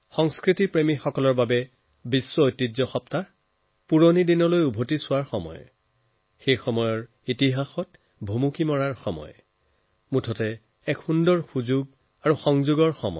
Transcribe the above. সংস্কৃতি প্ৰেমীসকলৰ বাবে বিশ্ব ঐতিহ্য সপ্তাহে পুৰণি সময়লৈ ঘূৰি যোৱা তাৰ ইতিহাসৰ গুৰুত্বপূৰ্ণ পৰ্বৰ সন্ধান কৰাৰ এক চিত্তাকৰ্ষক সুযোগ আনি দিয়ে